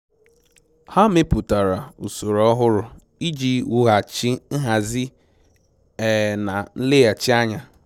Ha mepụtara usoro ọhụrụ iji wughachi nhazi um na nleghachi anya